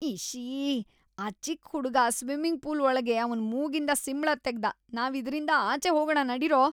ಇಶ್ಶೀ! ಆ ಚಿಕ್ಕ್ ಹುಡ್ಗ ಸ್ವಿಮ್ಮಿಂಗ್‌ ಪೂಲ್‌ ಒಳ್ಗೆ ಅವ್ನ್‌ ಮೂಗಿಂದ ಸಿಂಬ್ಳ ತೆಗ್ದ. ನಾವ್ ಇದ್ರಿಂದ ಆಚೆ ಹೋಗಣ ನಡೀರೋ!